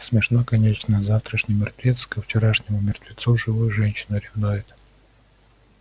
смешно конечно завтрашний мертвец ко вчерашнему мертвецу живую женщину ревнует